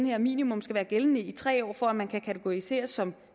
her minimum skal være gældende i tre år for at man kan kategoriseres som